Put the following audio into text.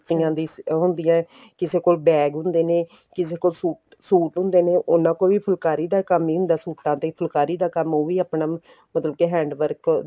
ਦੀ ਉਹ ਹੁੰਦੀ ਏ ਕਿਸੇ bag ਹੁੰਦੇ ਨੇ ਕਿਸੇ ਕੋਲ suit ਹੁੰਦੇ ਨੇ ਉਹਨਾ ਕੋਲ ਵੀ ਫੁਲਕਾਰੀ ਦਾ ਹੀ ਕੰਮ ਹੁੰਦਾ ਏ ਸੂਟਾ ਤੇ ਫੁਲਕਾਰੀ ਦਾ ਕੰਮ ਉਹ ਵੀ ਆਪਣਾ ਮਤਲਬ hand work